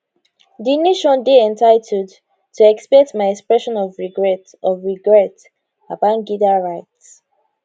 di nation dey entitled to expect my expression of regret of regret babangida write